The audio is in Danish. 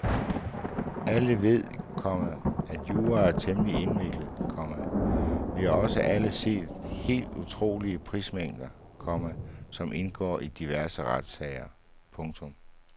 Alle ved, komma at jura er temmelig indviklet, komma vi har også alle set de helt utrolige papirmængder, komma som indgår i diverse retssager. punktum